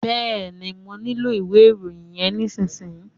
Bẹ́ẹ̀ni, mọ nílò ìwé ìròyìn yẹn nísìsiyìí.